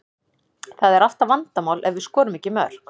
Það er alltaf vandamál ef við skorum ekki mörk.